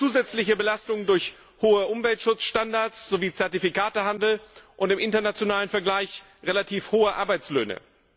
Wir haben zusätzliche Belastungen durch hohe Umweltschutzstandards sowie Zertifikatehandel und im internationalen Vergleich relativ hohe Arbeitslöhne.